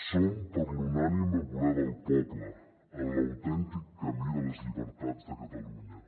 som per l’unànime voler del poble en l’autèntic camí de les llibertats de catalunya